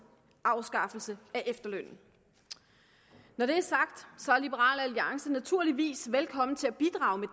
afskaffelse af efterlønnen når det er sagt er liberal alliance naturligvis velkommen til at bidrage